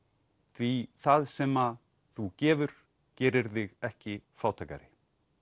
því það sem þú gefur gerir þig ekki fátækari